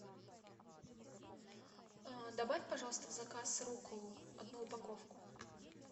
добавь пожалуйста в заказ рукколу одну упаковку